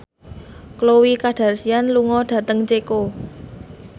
Khloe Kardashian lunga dhateng Ceko